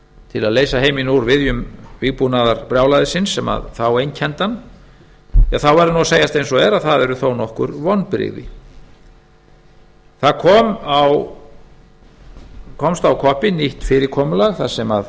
til að leysa heiminn úr viðjum vígbúnaðarbrjálæðisins sem þá einkenndi hann þá verður að segjast eins og er að það eru þó nokkur vonbrigði það komst á koppinn nýtt fyrirkomulag þar sem